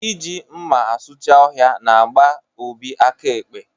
Ị ji mma asucha ọhịa n'gba Obi aka ekpe